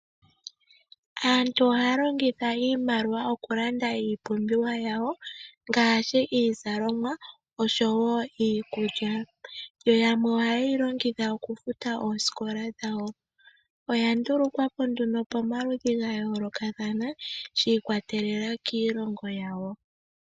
Aantu ohaya longitha iimaliwa okulanda iipumbiwa yawo ngaashi iizalomwa osho woiikulya, yo yamwe ohayeyi longitha okufuta oosikola dhawo. Oya ndulukwapo nduno pamaludhi gayolokathana shiikwatelela kiilongo yawo.